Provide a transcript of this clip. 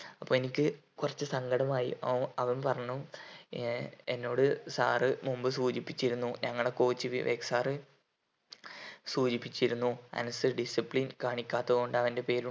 അപ്പൊ എനിക്ക് കുറച്ച് സങ്കടും ആയി അവൻ അവൻ പറഞ്ഞു ഏർ എന്നോട് sir മുമ്പ് സൂചിപ്പിച്ചിരുന്നു ഞങ്ങളെ coach വിവേക് sir സൂചിപ്പിച്ചിരുന്നു അനസിൽ discipline കാണിക്കാത്തതു കൊണ്ട് അവൻ്റെ പേര്